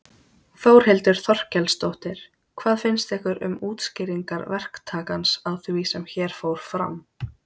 Þórhildur Þorkelsdóttir: Hvað finnst ykkur um útskýringar verktakans á því sem hér fór fram?